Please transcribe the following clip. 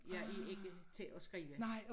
Jeg er ikke til at skrive